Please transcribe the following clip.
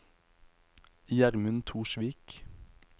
Gjermund Torsvik